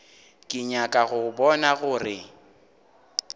ke nyaka go bona gore